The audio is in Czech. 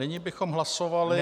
Nyní bychom hlasovali -